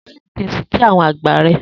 Dubulẹ ki o si kí àwọn àgbà rẹ!